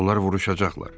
Onlar vuruşacaqlar.